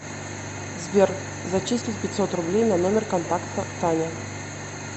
сбер зачислить пятьсот рублей на номер контакта таня